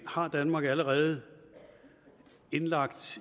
har danmark allerede indlagt